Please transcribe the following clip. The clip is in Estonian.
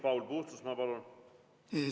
Paul Puustusmaa, palun!